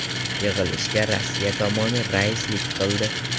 Yig‘ilishga Rossiya tomoni raislik qildi.